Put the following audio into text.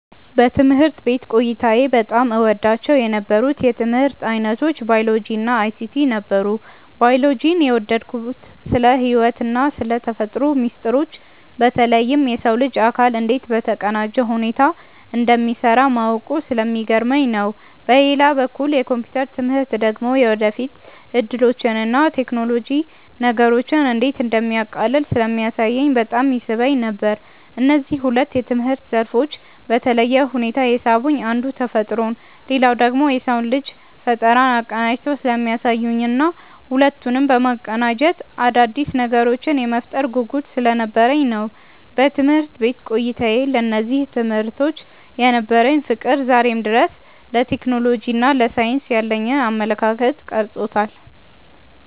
በትምህርት ቤት ቆይታዬ በጣም እወዳቸው የነበሩት የትምህርት ዓይነቶች ባዮሎጂ እና አይሲቲ ነበሩ። ባዮሎጂን የወደድኩት ስለ ሕይወትና ስለ ተፈጥሮ ሚስጥሮች በተለይም የሰው ልጅ አካል እንዴት በተቀናጀ ሁኔታ እንደሚሠራ ማወቁ ስለሚገርመኝ ነው። በሌላ በኩል የኮምፒውተር ትምህርት ደግሞ የወደፊት ዕድሎችንና ቴክኖሎጂ ነገሮችን እንዴት እንደሚያቃልል ስለሚያሳየኝ በጣም ይስበኝ ነበር። እነዚህ ሁለት የትምህርት ዘርፎች በተለየ ሁኔታ የሳቡኝ አንዱ ተፈጥሮን ሌላኛው ደግሞ የሰውን ልጅ ፈጠራ አቀናጅተው ስለሚያሳዩኝና ሁለቱንም በማገናኘት አዳዲስ ነገሮችን የመፍጠር ጉጉት ስለነበረኝ ነው። በትምህርት ቤት ቆይታዬ ለእነዚህ ትምህርቶች የነበረኝ ፍቅር ዛሬም ድረስ ለቴክኖሎጂና ለሳይንስ ያለኝን አመለካከት ቀርጾታል።